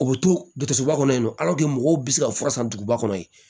U bɛ to dusuba kɔnɔ mɔgɔw bɛ se ka fura san duguba kɔnɔ yen